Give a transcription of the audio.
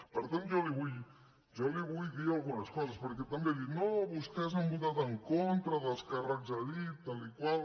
per tant jo li vull dir algunes coses perquè també ha dit no vostès han votat en contra dels càrrecs a dit tal i tal